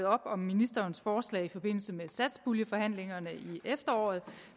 op om ministerens forslag i forbindelse med satspuljeforhandlingerne i efteråret